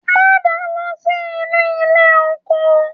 Ma da lọ sí inú ilé oko.